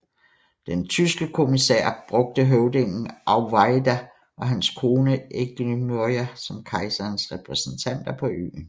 Den tyske kommissionær brugte høvdingen Auweyida og hans kone Eigamoiya som kejserens repræsentanter på øen